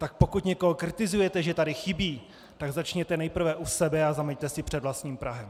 Tak pokud někoho kritizujete, že tady chybí, tak začněte nejprve u sebe a zameťte si před vlastním prahem.